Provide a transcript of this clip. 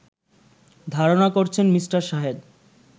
ধারণা করছেন মি. শাহেদ